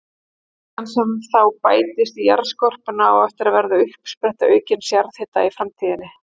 Kvikan sem þá bættist í jarðskorpuna á eftir að verða uppspretta aukins jarðhita í framtíðinni.